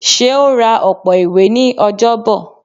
Seun rá ọpọ ìwé ní Ọjọbọ